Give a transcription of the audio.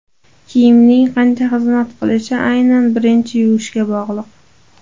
Kiyimning qancha xizmat qilishi aynan birinchi yuvishga bog‘liq.